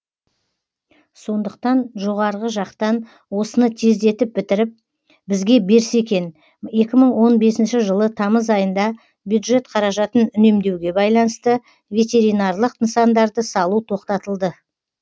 сондықтан жоғары жақтан осыны тездетіп бітіріп бізге берсе екен екі мың он бесінші жылы тамыз айында бюджет қаражатын үнемдеуге байланысты ветеринарлық нысандарды салу тоқтатылды